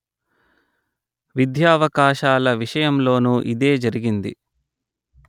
విద్యావకాశాల విషయంలోనూ ఇదే జరిగింది